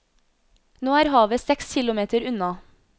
Nå er havet seks kilometer unna.